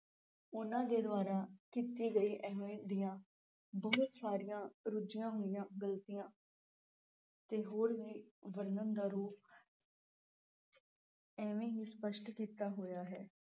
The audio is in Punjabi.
ਉਨ੍ਹਾਂ ਦੇ ਦੁਆਰਾ ਕੀਤੀ ਗਈ ਅਹਿਮੀਅਤ ਦੀਆਂ ਬਹੁਤ ਸਾਰੀਆਂ ਰੁਝੀਆਂ ਹੋਈਆਂ ਗਲਤੀਆਂ ਤੇ ਹੋਰ ਵੀ ਵਰਣਨ ਦਾ ਰੂਪ ਇਵੇਂ ਹੀ ਸਪਸ਼ਟ ਕੀਤਾ ਹੋਇਆ ਹੈ।